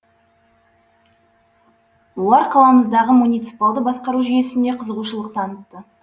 олар қаламыздағы муниципалды басқару жүйесіне қызығушылық танытты